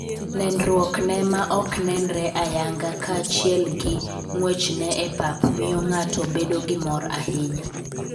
Nenruokne ma ok nenre ayanga kaachiel gi ng'wechne e pap miyo ng'ato bedo gi mor ahinya.